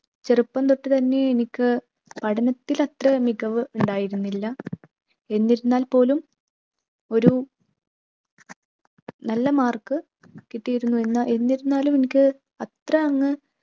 ചെറുപ്പംതൊട്ടു തന്നെ എനിക്ക് പഠനത്തിൽ അത്ര മികവ് ഉണ്ടായിരുന്നില്ല. എന്നിരുന്നാൽ പോലും ഒരു നല്ല mark കിട്ടിയിരുന്നു എന്നാ എന്നിരുന്നാലും എനിക്ക് അത്ര അങ്ങ്